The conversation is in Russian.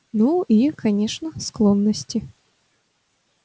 ну и конечно склонности